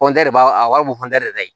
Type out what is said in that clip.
de b'a a b'a fɔ de ka ɲi